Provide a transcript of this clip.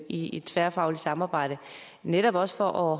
i et tværfagligt samarbejde netop også for